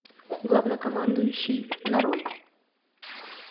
главнокомандующий нарой